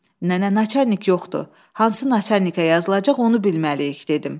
Nənə naçalnik yoxdur, hansı naçalnikə yazılacaq onu bilməliyik dedim.